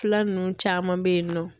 Fila nunnu caman bɛ yen nɔ.